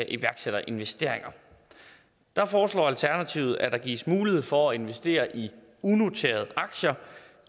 iværksætterinvesteringer der foreslår alternativet at der gives mulighed for at investere i unoterede aktier